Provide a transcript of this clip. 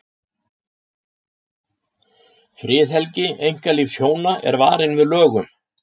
Friðhelgi einkalífs hjóna er varin með lögum.